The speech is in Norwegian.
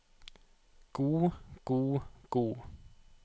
god god god